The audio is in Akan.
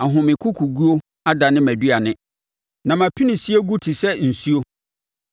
Ahomekokoguo adane mʼaduane; na mʼapinisie gu te sɛ nsuo.